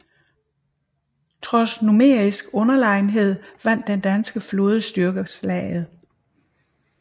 Trods numerisk underlegenhed vandt den danske flådestyrke slaget